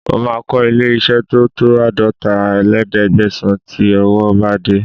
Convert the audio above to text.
Mo máa kọ́ ilé-iṣẹ́ tó tó àádọ́talé-léẹ̀ẹ́dẹ́gbẹ̀sán tí owó bá dé